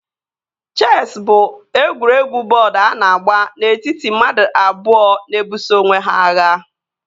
Chesị bụ egwuregwu bọọdu a na-agba n'etiti mmadụ abụọ na-ebuso onwe ha agha